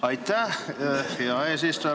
Aitäh, hea eesistuja!